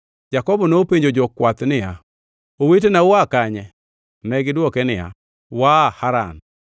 Jakobo nopenjo jokwath niya, “Owetena ua kanye?” Negidwoke niya, “Waa Haran.”